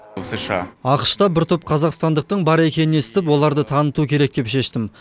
ақш та бір топ қазақстандықтың бар екенін естіп оларды таныту керек деп шештім